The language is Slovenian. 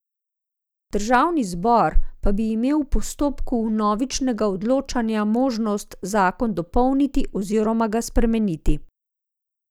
Državni zbor pa bi imel v postopku vnovičnega odločanja možnost zakon dopolniti oziroma ga spremeniti.